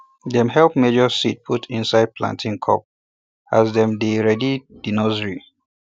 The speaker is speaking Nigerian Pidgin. dem help measure seed put inde planting cup as dem dey ready di nursery